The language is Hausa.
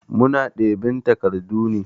Muna ɗab'in takardu ne.